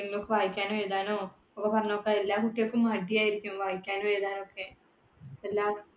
എന്തെങ്കിലും ഒക്കെ വായിക്കാനും, എഴുതാനോ ഒക്കെ പറഞ്ഞോക്കാ. എല്ലാ കുട്ടികൾക്കും മടിയായിരിക്കും വായിക്കാനും എഴുതാനും ഒക്കെ എല്ലാ